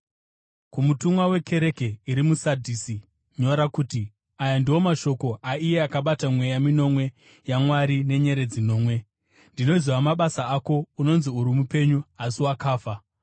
“Kumutumwa wekereke iri muSadhisi nyora kuti: Aya ndiwo mashoko aiye akabata mweya minomwe yaMwari nenyeredzi nomwe. Ndinoziva mabasa ako; unonzi uri mupenyu, asi wakafa.